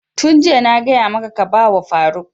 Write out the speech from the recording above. Yun jiya na gaya maka ka ba wa faruk!